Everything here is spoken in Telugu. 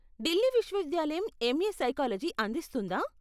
ఢిల్లీ విశ్వవిద్యాలయం ఎంఏ సైకాలజీ అందిస్తుందా?